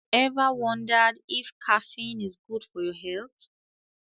Ever wondered if caffeine is good for your health?